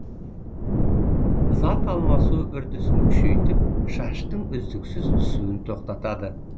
зат алмасу үрдісін күшейтіп шаштың үздіксіз түсуін тоқтатады